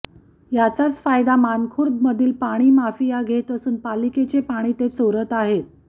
याचाच फायदा मानखुर्दमधील पाणीमाफिया घेत असून पालिकेचे पाणी ते चोरत आहेत